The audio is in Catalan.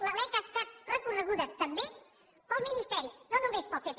la lec ha estat recorreguda també pel ministeri no només pel pp